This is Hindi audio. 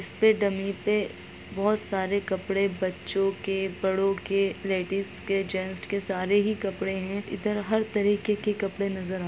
इसपे डमी पे बोहत सारे कपड़ों बड़ों के बच्चों के लेडिज के जैंट्स के इधर हर तरीकों के कपड़े नजर अर हे--